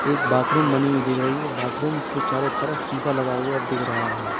एक बाथरूम बनी हुई दिख रही है बाथरूम के चारों तरफ सीसा लगा हुआ दिख रहा है।